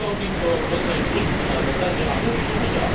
to rodzaj wrzutki na zasadzie a nuż się uda.